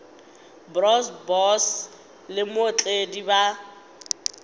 bro boss le mootledi ba